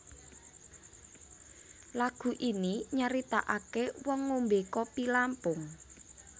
Lagu ini nyaritakake wong ngombe kopi Lampung